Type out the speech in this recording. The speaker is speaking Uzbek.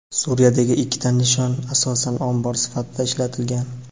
Suriyadagi ikkita nishon asosan ombor sifatida ishlatilgan.